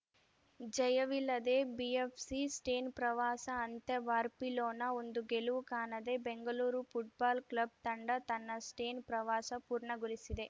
ಜಯವಿಲ್ಲದೆ BFC Spain ಪ್ರವಾಸ ಅಂತ್ಯ Barcelona ಒಂದು ಗೆಲುವು ಕಾಣದೆ ಬೆಂಗಳೂರು ಫುಟ್ಬಾಲ್‌ ಕ್ಲಬ್‌ ತಂಡ ತನ್ನ ಸ್ಟೇನ್‌ ಪ್ರವಾಸ ಪೂರ್ಣಗೊಳಿಸಿದೆ